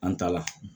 An ta la